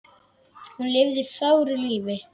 Hún lifði fögru lífi.